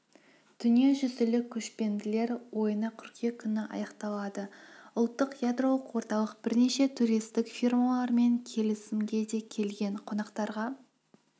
дүниежүзілік көшпенділер ойыны қыркүйек күні аяқталады ұлттық ядролық орталық бірнеше туристік фирмаларымен келісімге де келген қонақтарға